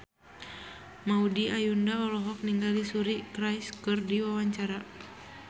Maudy Ayunda olohok ningali Suri Cruise keur diwawancara